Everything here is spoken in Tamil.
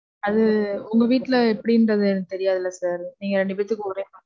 அது உங்க வீட்ல எப்படின்றது எனக்கு தெரியாதுல sir. நீங்க ரெண்டு பேர்த்துக்கும் ஒரே மாரி,